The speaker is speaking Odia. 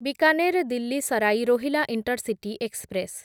Bikaner Delhi Sarai Rohilla intercity express